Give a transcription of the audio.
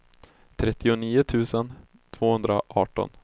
trettionio tusen tvåhundraarton